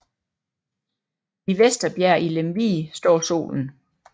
I Vesterbjerg i Lemvig står Solen